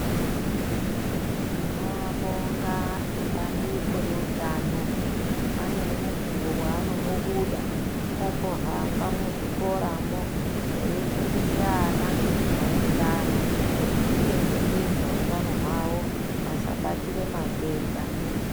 Tinoabonga ebandiko reutano, ane mukuwo waanombobuda, ombohamba muzvikoramwo eifundise ana maererano ngezvekudzichengetedza utano hwawo, asabatire matenda.